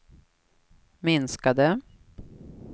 minskade